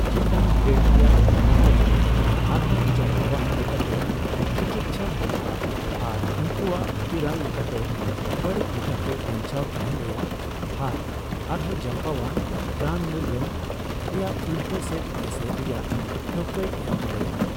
ᱪᱮᱛᱟᱱᱼᱜᱨᱮᱰ ᱨᱮᱭᱟᱜ ᱴᱤᱭᱩᱢᱟᱨ ᱠᱚᱫᱚ ᱟᱨᱦᱚᱸ ᱡᱟᱨᱯᱟᱣᱟᱱ ᱞᱮᱠᱟᱛᱮ ᱛᱤᱠᱤᱪᱪᱷᱟ ᱦᱩᱭᱩᱜᱼᱟ ᱟᱨ ᱩᱱᱠᱩᱣᱟᱜ ᱵᱷᱤᱛᱤᱨᱟᱱ ᱞᱮᱠᱟᱛᱮ ᱵᱟᱹᱲᱤᱡ ᱞᱮᱠᱟᱛᱮ ᱵᱟᱧᱟᱣ ᱛᱟᱦᱮᱱ ᱨᱮᱭᱟᱜ ᱦᱟᱨ ᱟᱨᱦᱚᱸ ᱡᱟᱨᱯᱟᱣᱟᱱ ᱨᱟᱱᱢᱩᱨᱜᱟᱹᱱ ᱨᱮᱭᱟᱜ ᱩᱞᱴᱟᱹ ᱥᱮᱫ ᱮᱥᱮᱨ ᱨᱮᱭᱟᱜ ᱴᱷᱟᱹᱣᱠᱟᱹᱭ ᱮᱢ ᱫᱟᱲᱮᱭᱟᱜᱼᱟ ᱾